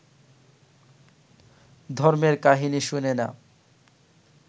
ধর্মের কাহিনী শোনে না